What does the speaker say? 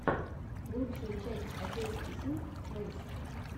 лучшая часть отец и сын плэйс